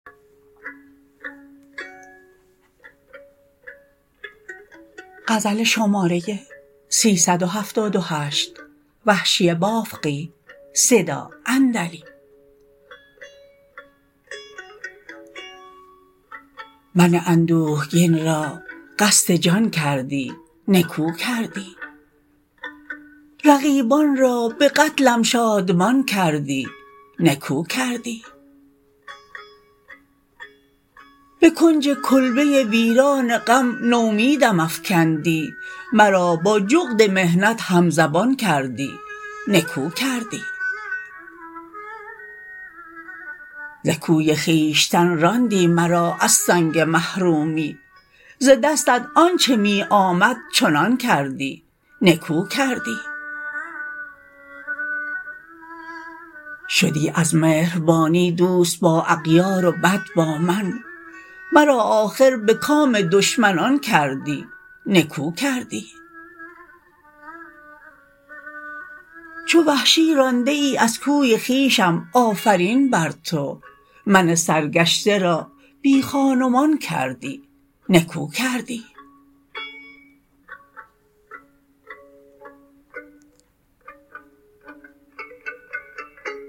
من اندوهگین را قصد جان کردی نکو کردی رقیبان را به قتلم شادمان کردی نکو کردی به کنج کلبه ویران غم نومیدم افکندی مرا با جغد محنت همزبان کردی نکو کردی ز کوی خویشتن راندی مرا از سنگ محرومی ز دستت آنچه می آمد چنان کردی نکو کردی شدی از مهربانی دوست با اغیار و بد با من مرا آخر به کام دشمنان کردی نکو کردی چو وحشی رانده ای از کوی خویشم آفرین برتو من سرگشته را بی خان و مان کردی نکو کردی